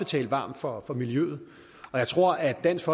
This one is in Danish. tale varmt for for miljøet og jeg tror at dansk